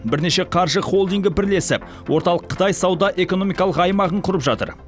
бірнеше қаржы холдингі бірлесіп орталық қытай сауда экономикалық аймағын құрып жатыр